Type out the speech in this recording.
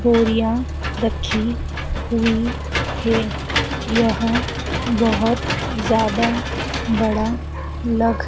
बोरिया रखी हुई है यह बहुत ज्यादा बड़ा लग--